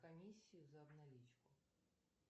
комиссию за обналичку